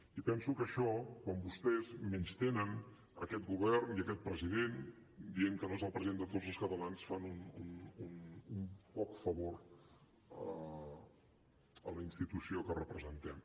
i penso que amb això quan vostès menystenen aquest govern i aquest president dient que no és el president de tots els catalans fan un poc favor a la institució que representem